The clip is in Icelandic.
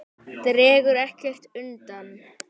Dregur ekkert undan.